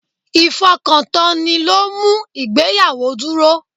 Ifokantoni lo ń mú ìgbéyàwó dúró.